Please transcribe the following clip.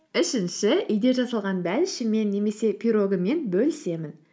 үшінші үйде жасалған бәлішіммен немесе пирогыммен бөлісемін